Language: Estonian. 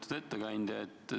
Lugupeetud ettekandja!